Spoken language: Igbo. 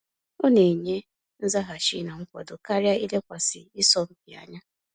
Ọ na enye nzaghachi n'akwado karịa ilekwasị isọmpi anya